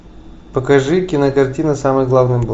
тм